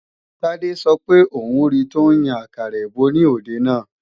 Tádé sọ pé òun ri tọ́ ń yan àkàrà èbó ní òde náà